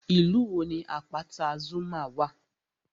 Ìlú wo ni àpáta Zuma wà?